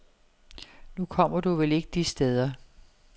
Nu kommer du vel ikke de steder.